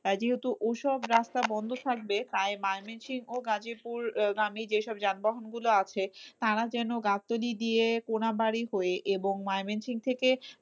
যেহেতু ওইসব রাস্তা বন্ধ থাকবে তাই ময়মনসিং গাজীপুর গামী যেইসব যানবাহন গুলো আছে তারা যেন গাতলী দিয়ে কোনাবাড়ি হয়ে এবং ময়মনসিং থেকে